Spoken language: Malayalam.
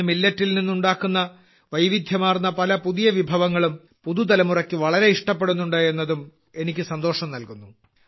ഇന്ന് Milletൽ നിന്ന് ഉണ്ടാക്കാൻ തുടങ്ങിയ വൈവിധ്യമാർന്ന പുതിയ പല വിഭവങ്ങളും പുതുതലമുറയ്ക്ക് വളരെ ഇഷ്ടപ്പെടുന്നുണ്ട് എന്നതും എനിക്ക് സന്തോഷം നൽകുന്നു